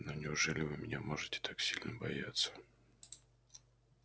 но неужели вы меня можете так сильно бояться